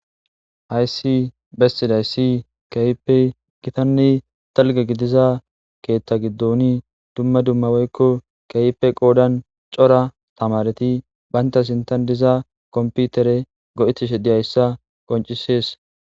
hayssi bessiday si keyipe gitanne talge gidiza keeththa giddoni dumma dummaweykko keyipe qoodan cora tamareti baynta sintan diza komputere go7etishe diyayssa qoncisees